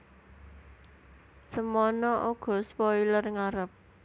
Semana uga spoiler ngarep